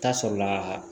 Taa sɔrɔla